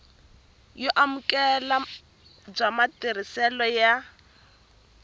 yo amukeleka bya matirhiselo ya